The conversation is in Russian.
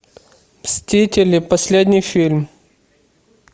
мстители последний фильм